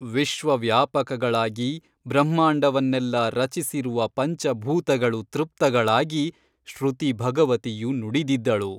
ವಿಶ್ವವ್ಯಾಪಕಗಳಾಗಿ ಬ್ರಹ್ಮಾಂಡವನ್ನೆಲ್ಲ ರಚಿಸಿರುವ ಪಂಚಭೂತಗಳು ತೃಪ್ತಗಳಾಗಿ ಶ್ರುತಿ ಭಗವತಿಯು ನುಡಿದಿದ್ದಳು.